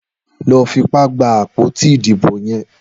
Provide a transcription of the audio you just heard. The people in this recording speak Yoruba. Lọ fipá gbá àpótí idibó yèn